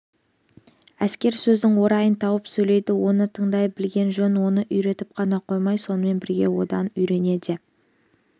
әскер сөздің орайын тауып сөйлейді оны тыңдай білген жөн оны үйретіп қана қоймай сонымен бірге одан үйрене де